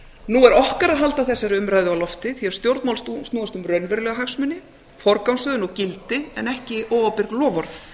nú er okkar að halda þessari umræðu á lofti því að stjórnmál snúast um raunverulega hagsmuni forgangsröðun og gildi en ekki óábyrg loforð